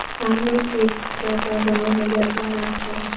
सामने एक छोटा सा गाँव नजर आ रहा हैं।